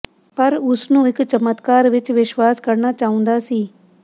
ਪਰ ਉਸ ਨੂੰ ਇਕ ਚਮਤਕਾਰ ਵਿਚ ਵਿਸ਼ਵਾਸ ਕਰਨਾ ਚਾਹੁੰਦਾ ਸੀ